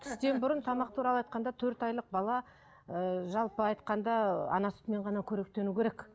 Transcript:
тістен бұрын тамақ туралы айтқанда төрт айлық бала ыыы жалпы айтқанда ана сүтімен ғана қоректену керек